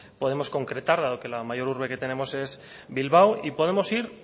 podemos concretar dado que la mayor urbe que tenemos es bilbao y podemos ir